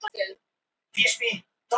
Það þykir mjög ljúffengt.